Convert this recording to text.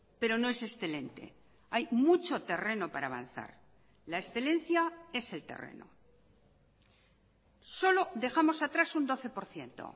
pero no es excelente hay mucho terreno para avanzar la excelencia es el terreno solo dejamos atrás un doce por ciento